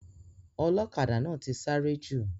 Ọlọ́kadà náà ti sáré jù.